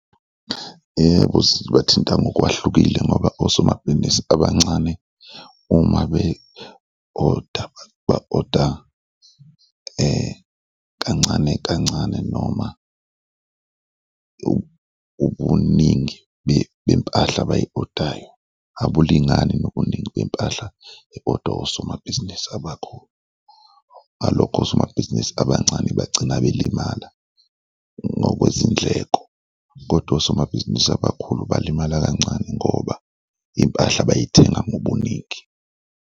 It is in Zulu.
Yebo, zibathinta ngokwahlukile ngoba osomabhizinisi abancane uma be-oda ba-oda kancane kancane noma ubuningi bempahla abayi-oda-yo abulingani nobuningi bempahla e-odwa osomabhizinisi abakhulu ngalokho osomabhizinisi abancane bagcina belimala ngokwezindleko kodwa osomabhizinisi abakhulu balimala kancane ngoba iy'mpahla bay'thenga ngobuningi.